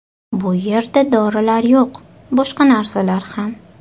Bu yerda dorilar yo‘q, boshqa narsalar ham.